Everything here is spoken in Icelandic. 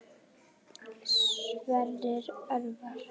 Sverrir Örvar.